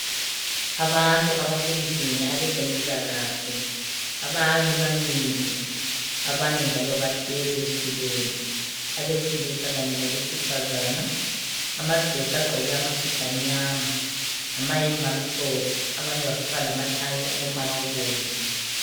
Abantu abasendlini abezempilakahle. Abanye bamile, abanye njalo bahlezi ezitulweni, abesilisa kanye labesifazana. Amadoda agqoke amasudu amnyama, lamayembe amhlophe, abanye bafaka lamathayi alombala obomvu.